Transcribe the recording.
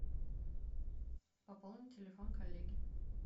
пополни телефон коллеге